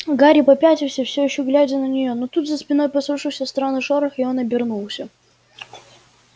гарри попятился всё ещё глядя на неё но тут за спиной послышался странный шорох и он обернулся